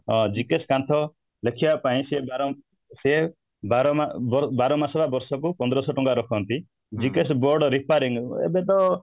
ଅଂ GKS କାନ୍ଥ ଲେଖିବା ପାଇଁ ସିଏ ବାର ମାସ ବା ବର୍ଷ କୁ ପନ୍ଦରଶହ ଟଙ୍କା ରଖନ୍ତି GKS board repairing ଏବେ ତ